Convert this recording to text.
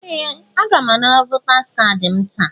Ee! Aga m anara votaas kaadị m taa.